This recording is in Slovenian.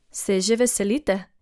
Se je že veselite?